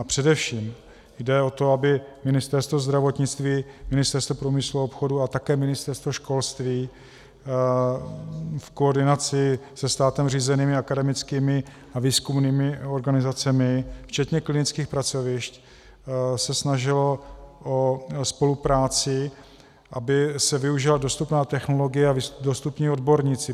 A především jde o to, aby Ministerstvo zdravotnictví, Ministerstvo průmyslu a obchodu a také Ministerstvo školství v koordinaci se státem řízenými akademickými a výzkumnými organizacemi včetně klinických pracovišť se snažily o spolupráci, aby se využila dostupná technologie a dostupní odborníci.